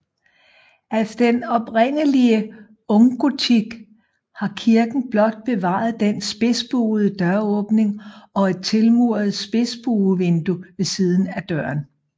Af den oprindelige unggotik har kirken blot bevaret den spidsbuede døråbning og et tilmuret spidsbuevindue ved siden af døren